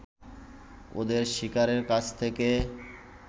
ওদের শিকারের কাছ থেকে